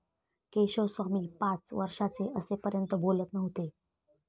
केशवस्वामी पाच वर्षाचे असेपर्यंत बोलत नव्हते.